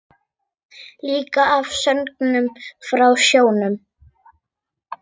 Líka af söngnum frá sjónum.